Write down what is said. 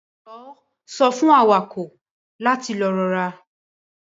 Jọwọ sọ fun awakọ lati lọ rọra.